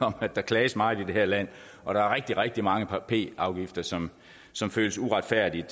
at der klages meget i det her land og der er rigtig rigtig mange p afgifter som som føles uretfærdigt